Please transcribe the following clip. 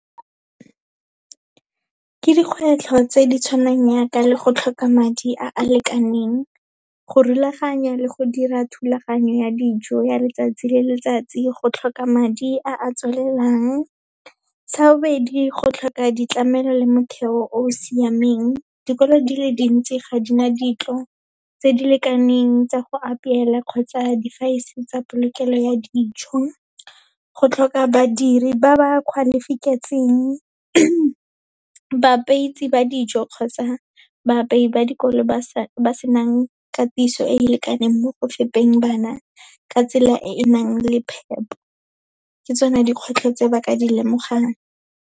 Ke dikgwetlho tse di tshwanang yaaka le go tlhoka madi a a lekaneng, go rulaganya le go dira thulaganyo ya dijo ya letsatsi le letsatsi, go tlhoka madi a tswelelang. Sa bobedi, go tlhoka ditlamelo le motheo o o siameng, dikolo di le dintsi ga di na dintlo tse di lekaneng tsa go apela, kgotsa tsa polokelo ya dijo, go tlhoka badiri ba ba , ba dijo kgotsa baapeyi ba dikolo ba senang katiso e lekaneng mo go fepeng bana, ka tsela e e nang le phepo, ke tsone dikgwetlho tse ba ka di lemogang.